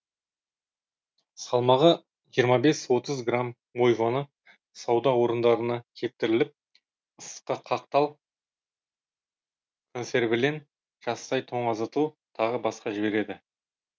салмағы жиырма бес отыз грамм мойваны сауда орындарына кептіріліп ыстыққа қақтал консервілен жастай тоңазытыл тағы басқа жібереді